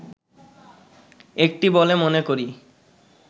একটি বলে মনে করি